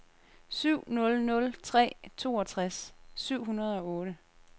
syv nul nul tre toogtres syv hundrede og otte